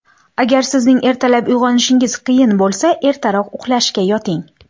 Agar sizning ertalab uyg‘onishingiz qiyin bo‘lsa, ertaroq uxlashga yoting.